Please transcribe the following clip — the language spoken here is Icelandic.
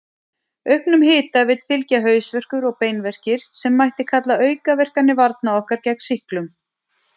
Auknum hita vill fylgja hausverkur og beinverkir, sem mætti kalla aukaverkanir varna okkar gegn sýklum.